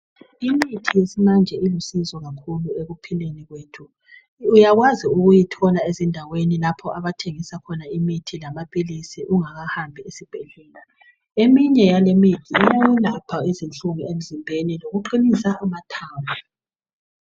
Imithi yesimanje ilusizo kakhulu ekuphileni kwethu. Uyakwazi ukuyithola ezindaweni lapho abathengisa khona imithi lamaphilizi ungakahambi esibhedlela. Eminye yaleyimithi iyayelapha izinhlungu emzimbeni lokuqinisa amathambo.